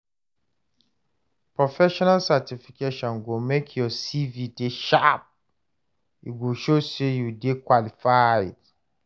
Professional certification go make your CV dey sharp, e go show say you dey qualified.